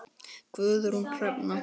Guðrún Hrefna.